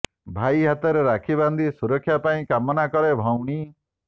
ଭାଇ ହାତରେ ରାକ୍ଷୀ ବାନ୍ଧି ସୁରକ୍ଷା ପାଇଁ କାମନା କରେ ଭଉଣୀ